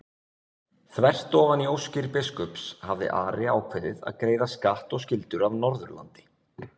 Þvert ofan í óskir biskups hafði Ari ákveðið að greiða skatt og skyldur af Norðurlandi.